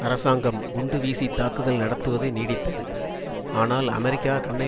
அரசாங்கம் குண்டு வீசி தாக்குதல் நடத்துவது நீடித்தது ஆனால் அமெரிக்கா கண்ணை